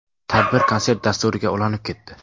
Tadbir konsert dasturiga ulanib ketdi.